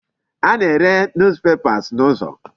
A na-ere News papers n'ụzọ.